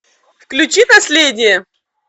включи последнее